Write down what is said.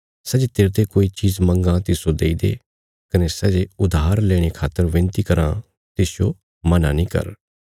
सै जे तेरते कोई चीज मंगां तिस्सो देई दे कने सै जे उधार लेणे खातर विनती कराँ तिसजो मना नीं कर